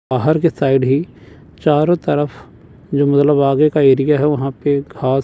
बाहर के साइड ही चारों तरफ जो मतलब आगे का एरिया है वहां पे घास--